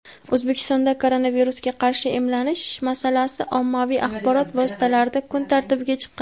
O‘zbekistonda koronavirusga qarshi emlanish masalasi ommaviy axborot vositalarida kun tartibiga chiqqan.